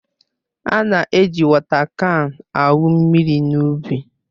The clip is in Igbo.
A na-eji wọta kan awụ mmiri n'ubi